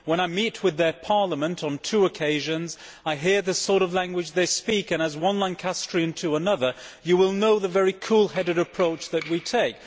When I met with their Parliament on two occasions, I heard the sort of language they speak, and as one Lancastrian to another, you will know the very cool headed approach that we take.